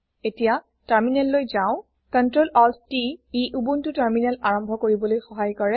এতিয়া টাৰ্মিনেললৈ যাও CtrlaltT ই উবুনটো টাৰ্মিনেল আৰম্ভ কৰিবলৈ সহায় কৰে